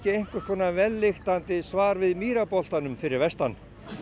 einhvers konar vellyktandi svar við fyrir vestan